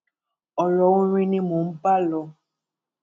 ọrọ orin ni mò ń bá lò